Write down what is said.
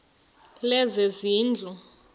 lezezindlu